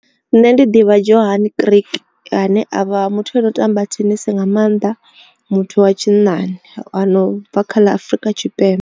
Nṋe ndi ḓivha dzhohani Greek ane avha muthu ano tamba thenisi nga maanḓa muthu wa tshinnani no bva kha ḽa Afrika Tshipembe.